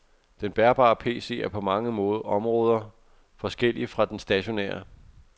Den bærbare pc er på mange områder forskellig fra den stationære.